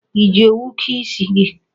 I ji owu kee isi gị?